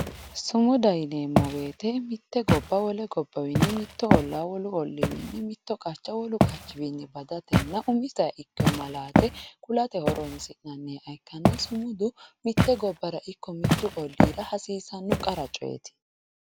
Sumudaho yineemmo woyte mitte gobba wole gobbawiinni mitto ollaa wolu olliiwiinni mitto qacha wolu qachiwiinni badatenna umiseha ikkeyo malaate kuate horonsi'nanniha ikkanna sumudu mitte gobbara ikko mittu olliira hasiisanno qara coyeeti